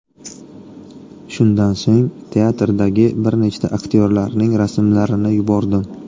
Shundan so‘ng teatrdagi bir nechta aktyorlarning rasmlarini yubordim.